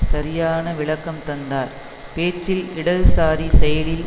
சரியான விளக்கம் தந்தார் பேச்சில் இடதுசாரி செயலில்